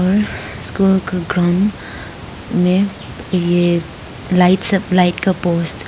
इस घर का ग्राउंड में ये लाइट सब लाइट का पोस्ट --